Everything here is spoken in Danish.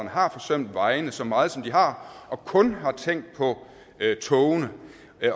har forsømt vejene så meget som de har og kun har tænkt på togene